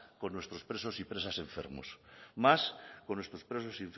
con nuestros presos y presas enfermos más con nuestros presos